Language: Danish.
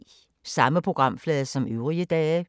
Samme programflade som øvrige dage